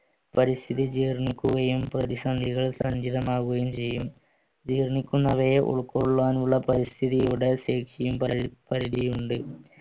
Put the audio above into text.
പരിസ്ഥിതി ജീർണിക്കുകയും പ്രതിസന്ധികൾ സഞ്ചിതമാവുകയും ചെയ്യും വയെ ഉൾക്കൊള്ളാനുള്ള പരിസ്ഥിതിയുടെ ശേഷിയും പരിധിയുണ്ട്